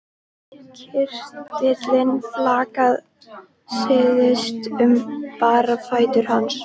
Kirtillinn flaksaðist um bera fætur hans.